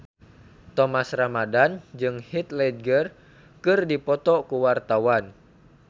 Thomas Ramdhan jeung Heath Ledger keur dipoto ku wartawan